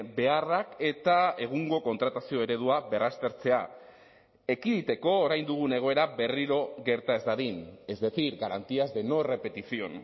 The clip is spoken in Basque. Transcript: beharrak eta egungo kontratazio eredua berraztertzea ekiditeko orain dugun egoera berriro gerta ez dadin es decir garantías de no repetición